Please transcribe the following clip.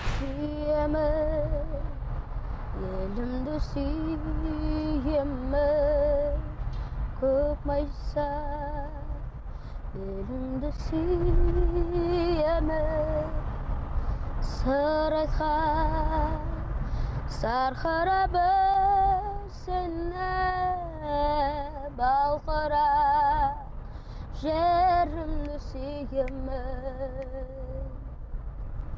сүйемін елімді сүйемін көк майса белімді сүйемін сарыарқа сарқырап өзені балқұрақ жерімді сүйемін